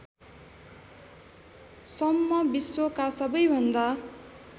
सम्म विश्वका सबैभन्दा